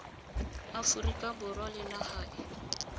aforika borwa le naga e